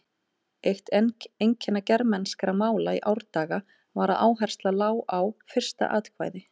Eitt einkenni germanskra mála í árdaga var að áhersla lá á fyrsta atkvæði.